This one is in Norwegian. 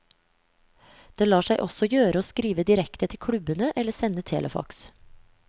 Det lar seg også gjøre å skrive direkte til klubbene eller sende telefaks.